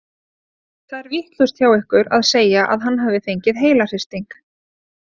Það er vitlaust hjá ykkur að segja að hann hafi fengið heilahristing.